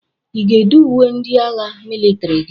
Ị na-èdé uwe ndị agha mịlịtrị gị?